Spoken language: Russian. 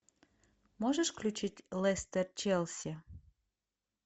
можешь включить лестер челси